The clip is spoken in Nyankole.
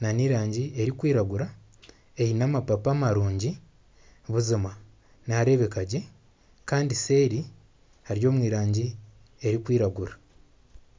n'erangi erikwiragura eine amapaapa marungi buzima nihareebeka gye kandi seeri hari omu rangi erikwiragura.